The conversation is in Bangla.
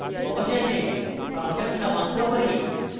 অবশেষে আমরা ফাংশন সমাপ্ত করি